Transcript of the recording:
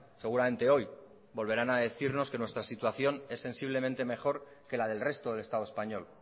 seguramente hoy volverán a decirnos que nuestra situación es sensiblemente mejor que la del resto del estado español